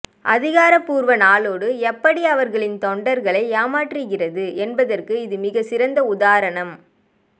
அதிகாரப்பூர்வ நாளேடு எப்படி அவர்களின் தொண்டர்களை ஏமாற்றுகிறது என்பதற்கு இது மிகச்சிறந்த உதாரணம்